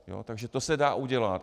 Takže to se dá udělat.